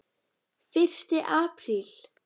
FYRSTI APRÍL